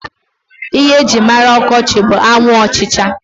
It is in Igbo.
Ihe e jírí mara ọkọchị bụ anwụ ọchịcha.